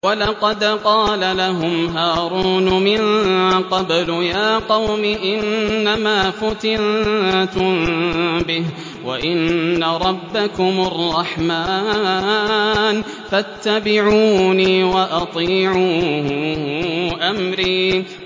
وَلَقَدْ قَالَ لَهُمْ هَارُونُ مِن قَبْلُ يَا قَوْمِ إِنَّمَا فُتِنتُم بِهِ ۖ وَإِنَّ رَبَّكُمُ الرَّحْمَٰنُ فَاتَّبِعُونِي وَأَطِيعُوا أَمْرِي